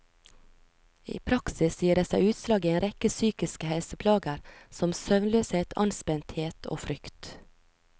I praksis gir det seg utslag i en rekke psykiske helseplager som søvnløshet, anspenthet og frykt.